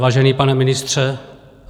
Vážený pane ministře...